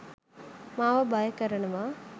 මාව බය කරනවා.